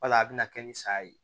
Wala a bɛna kɛ ni saya ye